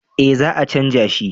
eh za a canja shi